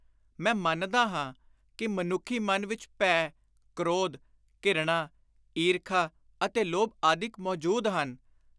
ਮੈਂ ਮੰਨਦਾ ਹਾਂ ਕਿ ਮਨੁੱਖੀ ਮਨ ਵਿਚ ਭੈ, ਕ੍ਰੋਧ, ਘਿਰਣਾ, ਈਰਖਾ ਅਤੇ ਲੋਭ ਆਦਿਕ ਮੌਜੂਦ ਹਨ।